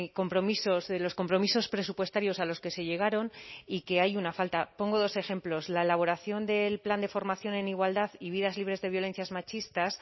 compromisos de los compromisos presupuestarios a los que se llegaron y que hay una falta pongo dos ejemplos la elaboración del plan de formación en igualdad y vidas libres de violencias machistas